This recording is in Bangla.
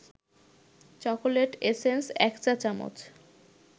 চকোলেট এসেন্স ১ চা-চামচ